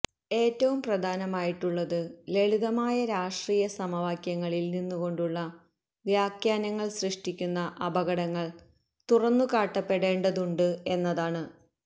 ഏറ്റവും പ്രധാനമായിട്ടുള്ളത് ലളിതമായ രാഷ്ട്രീയ സമവാക്യങ്ങളില് നിന്നുകൊണ്ടുള്ള വ്യാഖ്യാനങ്ങള് സൃഷ്ടിക്കുന്ന അപകടങ്ങള് തുറന്നുകാട്ടപ്പെടെണ്ടതുണ്ട് എന്നതാണ്